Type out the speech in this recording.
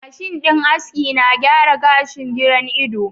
.mashin din aski na gyara gashin giran Ido.